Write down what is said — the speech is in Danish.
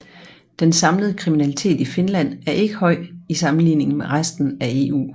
Den samlede kriminalitet i Finland er ikke høj i sammenligning med resten af EU